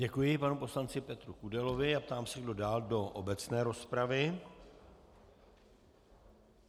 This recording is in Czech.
Děkuji panu poslanci Petru Kudelovi a ptám se, kdo dál do obecné rozpravy.